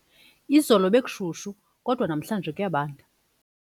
Izolo bekushushu kodwa namhlanje kuyabanda.